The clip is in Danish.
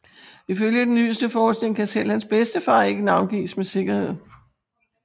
Ifølge den nyeste forskning kan selv hans bedstefar ikke navngives med sikkerhed